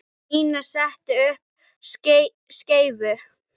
Nína setti upp skeifu.